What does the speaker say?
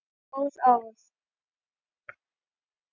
Góð ár.